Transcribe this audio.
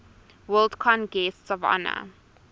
worldcon guests of honor